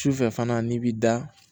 Sufɛ fana n'i b'i da